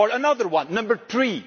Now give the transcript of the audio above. Or another one, number 3